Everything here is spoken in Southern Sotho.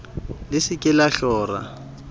le se ke la hlora